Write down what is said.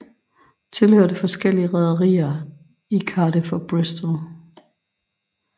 Tilhørte forskellige rederier i Cardiff og Bristol